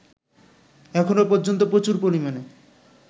এখনো পর্যন্ত প্রচুর পরিমাণে